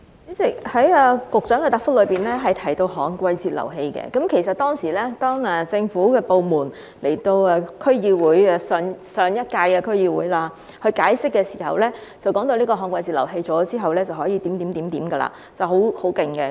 主席，局長的答覆提到旱季截流器，其實當時政府部門代表在上屆區議會解釋時，提到旱季截流器在設置後便能夠這樣、那樣，是很厲害的。